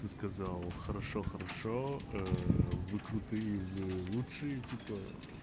ты сказал хорошо хорошо вы крутые вы лучшие типа